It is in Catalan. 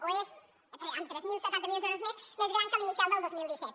o és amb tres mil setanta milions d’euros més més gran que l’inicial del dos mil disset